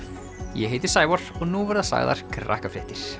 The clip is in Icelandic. ég heiti Sævar og nú verða sagðar